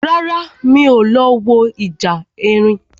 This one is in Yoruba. Rárá, mi ò lọ wo ìjà erin